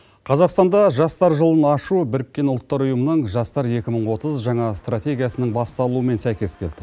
қазақстанда жастар жылын ашу біріккен ұлттар ұйымының жастар екі мың отыз жаңа стратегиясының басталуымен сәйкес келді